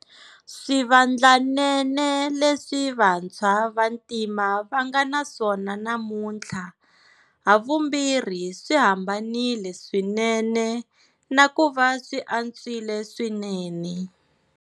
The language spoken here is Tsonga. Swivandlanene leswi vantshwa va ntima va nga na swona namuntlha havumbirhi swi hambanile swinene na ku va swi antswile swinene.